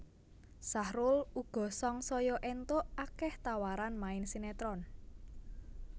Sahrul uga sangsaya éntuk akéh tawaran main sinetron